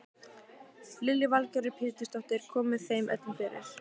Lillý Valgerður Pétursdóttir: Komið þeim öllum fyrir?